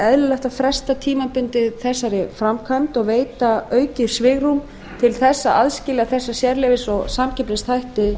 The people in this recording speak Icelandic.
eðlilegt að fresta tímabundið þessari framkvæmd og veita aukið svigrúm til að aðskilja þessa sérleyfis og samkeppnisþætti